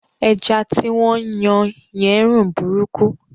Ẹja tí wọ́n ń yan yẹn ń rùn burúkú